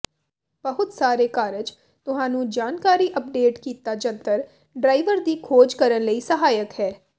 ਬਹੁਤ ਸਾਰੇ ਕਾਰਜ ਤੁਹਾਨੂੰ ਜਾਣਕਾਰੀ ਅੱਪਡੇਟ ਕੀਤਾ ਜੰਤਰ ਡਰਾਈਵਰ ਦੀ ਖੋਜ ਕਰਨ ਲਈ ਸਹਾਇਕ ਹੈ